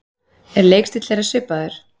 Er leikstíll þeirra svipaður?